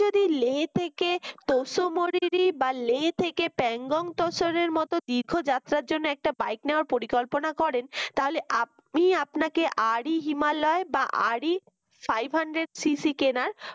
আপনি লে থেকে তসরিরি বা লে থেকে প্যাংগং তসরের মত দীর্ঘ যাত্রার জন্য একটা bike নেওয়ার পরিকল্পনা করেন তাহলে আমি আপনাকে RE হিমালয় বা REfive hundred CC কেনার